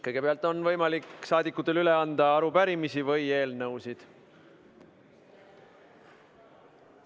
Kõigepealt on saadikutel võimalik üle anda arupärimisi või eelnõusid.